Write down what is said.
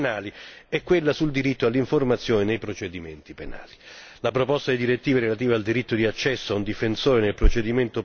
Fra queste, la direttiva sul diritto all'interpretazione e alla traduzione nei procedimenti penali e quella sul diritto all'informazione anch'essa nei procedimenti penali.